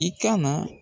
I ka na